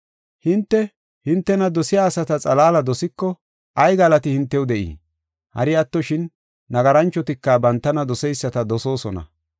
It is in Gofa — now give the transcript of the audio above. “Hinte, hintena dosiya asata xalaala dosiko, ay galati hintew de7ii? Hari attoshin, nagaranchotika bantana doseyisata dosoosona.